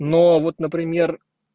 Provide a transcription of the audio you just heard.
но вот например